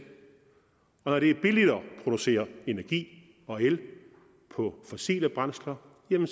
producere energi og el på fossile brændsler bliver